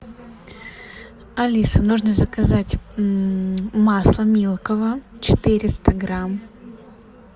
алиса нужно заказать масло милково четыреста грамм